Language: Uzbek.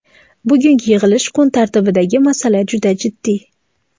Bugungi yig‘ilish kun tartibidagi masala juda jiddiy.